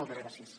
moltes gràcies